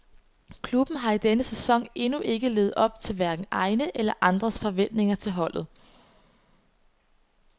Klubben har i denne sæson endnu ikke levet op til hverken egne eller andres forventninger til holdet.